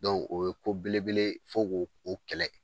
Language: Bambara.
o ye ko belebele ye fo ko o kɛlɛ